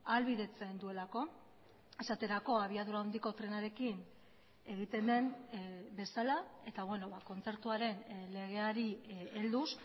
ahalbidetzen duelako esaterako abiadura handiko trenarekin egiten den bezala eta kontzertuaren legeari helduz